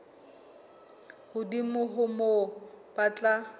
hodimo ho moo ba tla